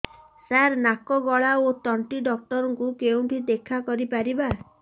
ସାର ନାକ ଗଳା ଓ ତଣ୍ଟି ଡକ୍ଟର ଙ୍କୁ କେଉଁଠି ଦେଖା କରିପାରିବା